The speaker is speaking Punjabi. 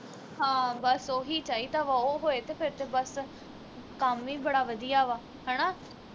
ਹਾਂ ਬਸ ਉਹੀ ਚਾਹੀਦਾ ਵਾ ਉਹ ਹੋਏ ਤੇ ਫਿਰ ਤੇ ਬਸ ਕੰਮ ਈ ਬੜਾ ਵਧੀਆ ਵਾ ਹਣਾ